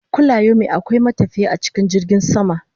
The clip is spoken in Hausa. Kulayomi akwai matafiye a cikin jirgin sama